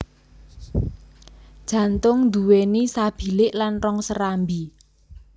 Jantung duwéni sabilik lan rong serambi